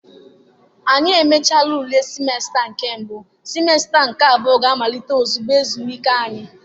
anyi mechara ule semester nke mbu, semester nke abuo ga-amalite ozugbo ezumike anyi.